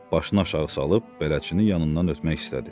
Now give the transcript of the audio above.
Başını aşağı salıb bələdçinin yanından ötmək istədi.